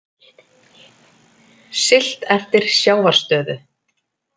Siglt eftir sjávarstöðu